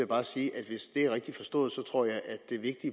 bare sige at hvis det er rigtigt forstået tror jeg at